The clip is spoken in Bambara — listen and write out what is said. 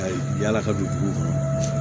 Ayi yala ka don dugu kɔnɔ